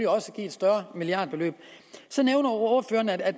også give et større milliardbeløb så nævner ordføreren at